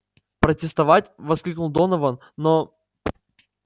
протестовать воскликнул донован но